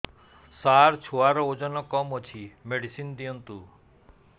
ସାର ଛୁଆର ଓଜନ କମ ଅଛି ମେଡିସିନ ଦିଅନ୍ତୁ